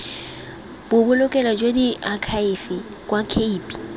bobolokelo jwa diakhaefe jwa cape